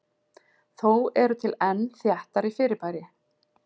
Þó eru til enn þéttari fyrirbæri.